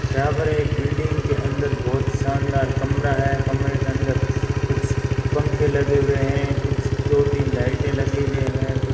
यहां पर एक बिल्डिंग के अंदर बहुत शानदार कमरा है कमरे के अंदर कुछ पंखे लगे हुए हैं कुछ दो तीन लाइटें लगे हुए हैं कुछ --